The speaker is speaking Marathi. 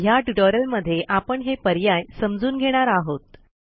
ह्या ट्युटोरियलमध्ये आपण हे पर्याय समजून घेणार आहोत